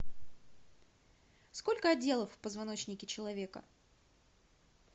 сколько отделов в позвоночнике человека